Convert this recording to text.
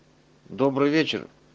добрый вечер